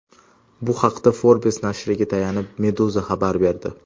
Bu haqda Forbes nashriga tayanib Meduza xabar berdi.